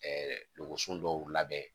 Ɛɛ dɔgɔso dɔw labɛn